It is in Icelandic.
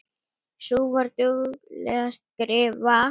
Sú var dugleg að skrifa.